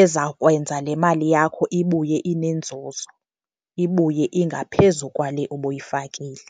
ezawukwenza le mali yakho ibuye inenzuzo, ibuye ingaphezu kwale ubuyifakile.